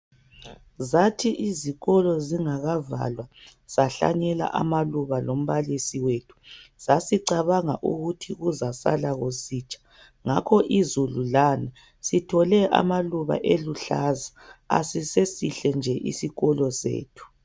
Zathi izikolo zingakavalwa sahlanyela amaluba lombalisi wethu sasicabanga ukuthi kuzasala kusitsha ngakho izulu lana sithole amaluba eluhlaza asisesihle nje isikolo sethu.